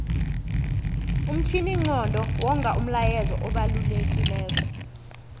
umtjhininqondo wonga umlayezu obalekilelo